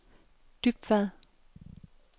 Dybvad